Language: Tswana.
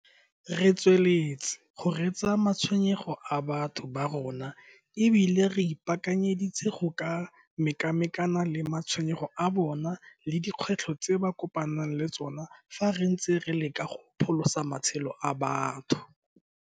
Re tsweletse go reetsa matshwenyego a batho ba rona mme e bile re ipaakanyeditse go ka mekamekana le matshwenyego a bona le dikgwetlho tse ba kopanang le tsona fa re ntse re leka go pholosa matshelo a batho.